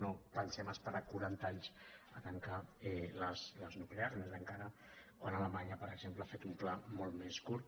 no pensem esperar quaranta anys a tancar les nuclears més encara quan alemanya per exemple ha fet un pla molt més curt